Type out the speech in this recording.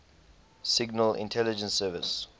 signal intelligence service